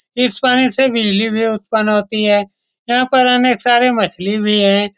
इस पानी से बिजली भी उत्पन्न होती है यहाँ पर अनेक सारे मछली भी होती हैं ।